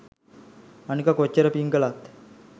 අනික කොච්චර පින් කලත්